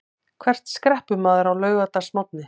Hvert skreppur maður á laugardagsmorgni?